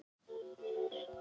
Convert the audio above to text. Íslands, þegar þau hittust.